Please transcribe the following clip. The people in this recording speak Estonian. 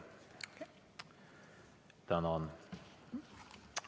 Tänan!